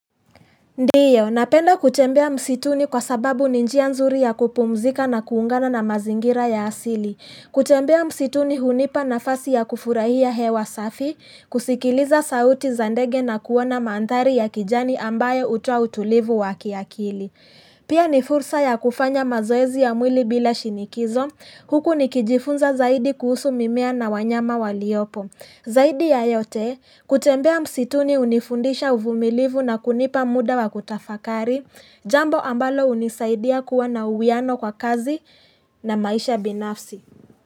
Ndiyo, napenda kutembea msituni kwa sababu ni njia nzuri ya kupumzika na kuungana na mazingira ya asili. Kutembea msituni hunipa nafasi ya kufurahia hewa safi, kusikiliza sauti za ndege na kuona manthari ya kijani ambayo hutoa utulivu wakiakili. Pia ni fursa ya kufanya mazoezi ya mwili bila shinikizo, huku nikijifunza zaidi kuhusu mimmea na wanyama waliopo. Zaidi ya yote, kutembea msituni hunifundisha uvumilivu na kunipa muda wa kutafakari, jambo ambalo hunisaidia kuwa na uwiano kwa kazi na maisha binafsi.